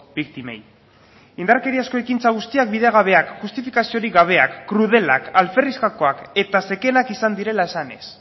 biktimei indarkeriazko ekintza guztiak bidegabeak justifikaziorik gabeak krudelak alferrikakoak eta zekenak izan direla esanez